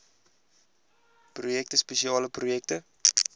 projekte spesiale projekte